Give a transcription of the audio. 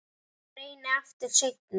Ég reyni aftur seinna